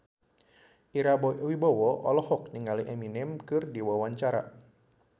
Ira Wibowo olohok ningali Eminem keur diwawancara